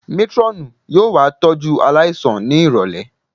Métírọ́ọ̀nù yóò wá tọ́jú aláìsàn ní ìrọ̀lẹ̀